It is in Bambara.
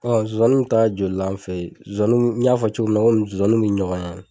Ɔ sonsanninw bɛ ta jolila anw fɛ ye? Sonsanninw, i y'a fɔ cogo min na sonsanninw bɛ ɲɔgɔn ɲɛ.